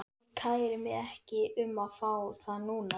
Ég kæri mig ekki um að fá þá núna.